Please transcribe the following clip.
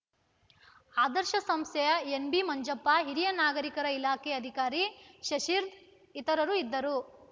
ಆದರ್ಶ ಸಂಸ್ಥೆಯ ಎನ್‌ಬಿ ಮಂಜಪ್ಪ ಹಿರಿಯ ನಾಗರಿಕರ ಇಲಾಖೆ ಅಧಿಕಾರಿ ಶಶಿರ್‌ ಇತರರು ಇದ್ದರು